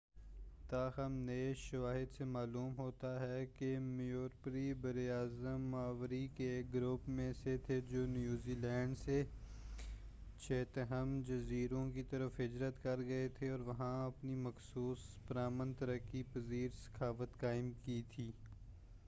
تاہم نئے شواہد سے معلوم ہوتا ہے کہ موریوری برّ اَعظم ماوری کے ایک گروپ میں سے تھے جو نیوزی لینڈ سے چیتھم جزیروں کی طرف ہجرت کر گئے تھے اور وہاں اپنی مخصوص پرامن ترقی پذیر ثقافت قائم کی تھی